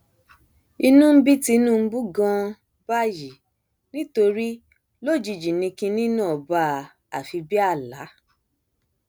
inú ń bí tinubu ganan báyìí nítorí lójijì ni kinní náà bá a àfi bíi àlà